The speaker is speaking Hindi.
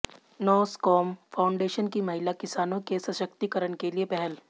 नॉसकॉम फाउंडेशन की महिला किसानों के सशक्तिकरण के लिये पहल